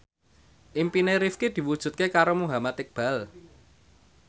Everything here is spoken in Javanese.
impine Rifqi diwujudke karo Muhammad Iqbal